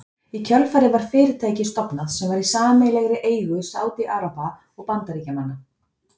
Í kjölfarið var fyrirtæki stofnað sem var í sameiginlegri eigu Sádi-Araba og Bandaríkjamanna.